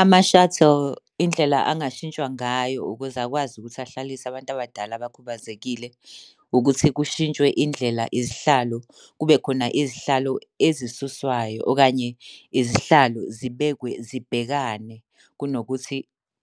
Ama-shuttle, indlela angashintshwa ngayo ukuze akwazi ukuthi ahlalise abantu abadala abakhubazekile, ukuthi kushintshwe indlela izihlalo kube khona izihlalo ezisuswayo, okanye izihlalo zibekwe zibhekane kunokuthi